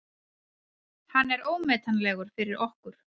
Hann er ómetanlegur fyrir okkur.